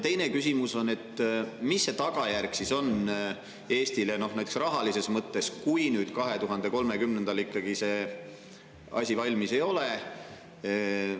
Teine küsimus on see, et mis see tagajärg siis Eestile näiteks rahalises mõttes on, kui 2030. aastal see asi ikkagi valmis ei ole.